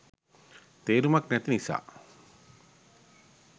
තේරුමක් නැති නිසා